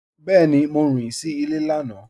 Bẹẹni, Mọ rìn sí ilẹ̀ lànà.